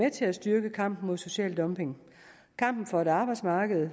at til at styrke kampen mod social dumping kampen for et arbejdsmarked